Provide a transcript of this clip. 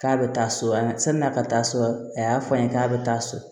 K'a bɛ taa so an ka san'a ka taa so a y'a fɔ an ye k'a bɛ taa so